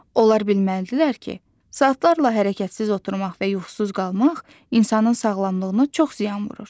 Onlar bilməlidirlər ki, saatlarla hərəkətsiz oturmaq və yuxusuz qalmaq insanın sağlamlığına çox ziyan vurur.